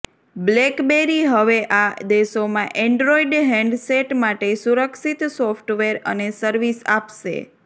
blackberry હવે આ દેશોમાં એન્ડ્રોઇડ હેન્ડસેટ માટે સુરક્ષિત સોફ્ટવેર અને સર્વિસ આપશે